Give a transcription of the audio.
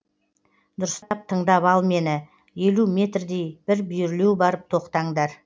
дұрыстап тыңдап ал мені елу мертдей бір бүйірлеу барып тоқтаңдар